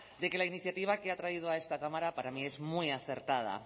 de que la iniciativa que ha traído a esta cámara para mí es muy acertada